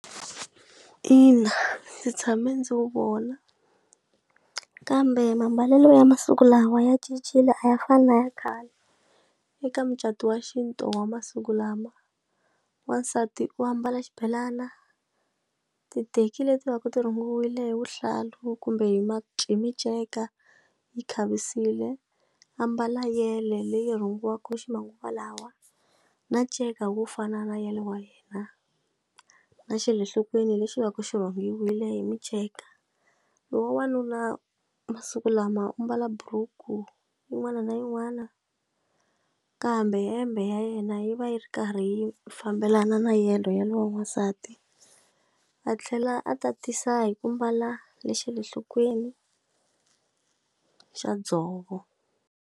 Ina ndzi tshame ndzi wu vona kambe mambalelo ya masiku lawa ya cincile a ya fani na ya khale eka mucato wa xintu wa masiku lama wansati u ambala xibelana ti teki leti va ku ti rhumiwile hi vuhlalu kumbe hi miceka a yi khavisiwile ambala yele leyi rhungiweke ximanguva lawa na nceka wo fana na ya le wa yena na xele enhlokweni lexi va ku xivangiwile hi miceka lowa n'wanuna masiku lama u mbala buruku yin'wana na yin'wana kambe hembe ya yena na yi va yi ri karhi yi fambelana na yeleyo ya lowa n'wansati a tlhela a tatisa hi ku mbala le xale nhlokweni xa dzovo.